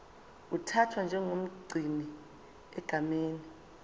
uthathwa njengomgcini egameni